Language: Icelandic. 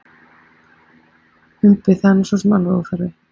Umbi: Það er nú sosum alveg óþarfi.